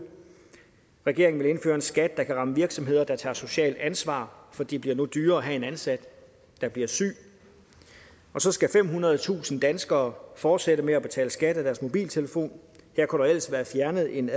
regeringen vil indføre en skat der kan ramme virksomheder der tager et socialt ansvar for det bliver dyrere at have en ansat der bliver syg og så skal femhundredetusind danskere fortsætte med at betale skat af deres mobiltelefon her kunne der ellers være fjernet en